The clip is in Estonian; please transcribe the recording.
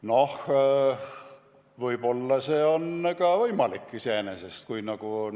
Noh, võib-olla see on iseenesest võimalik.